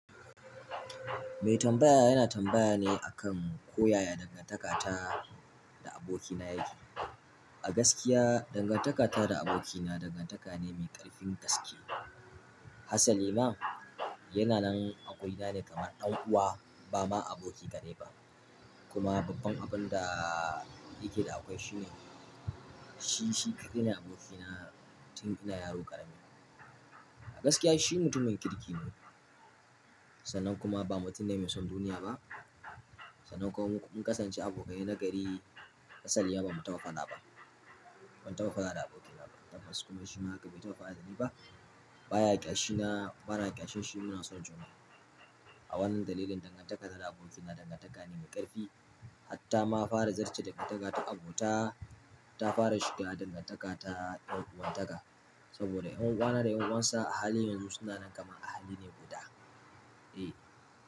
Mai tambaya yana tambaya ne akan koyaya dangantakata da abokina yake. A gaskiya dangantakata da abokina dangantaka ne mai ƙarfin gaske. Has lima yana nan a gurina ne kamar ɗan uwa ba ma aboki kaɗai ba. Kuma babban abun da yake da akwai shine shi shi kaidai nee abokina tun ina yaro ƙarami. A gaskiya shi mutumin kirki ne, sannan kuma ba mutum ne mai son duniya ba. Sannan kuma mun kasance abokai na gari. Hasalima ba mu tafa faɗa ba. Ban tafa faɗa da abokina ba. Tabbas kuma shi ma haka bai tafa faɗa da ni ba. Ba ya ƙyashina, bana ƙyashin shi. Muna son juna. A wannan dalilin dangantakata da abokina dangantaka ne mai ƙarfi. Hatta ma fara zarce dangantaka ta abota ta fara shiga dangantaka ta ɗan'uwantaka. Saboda ƴan uwana da ƴan uwansa a hali yanzu suna nan kamar ahali ne guda. E.